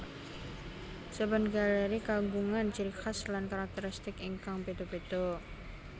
Saben galéri kagungan ciri khas lan karakteristik ingkang béda béda